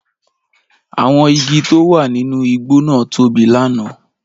Àwọn igi tó wà nínú igbó náà tóbi lánàá